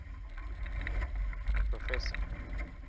proffesor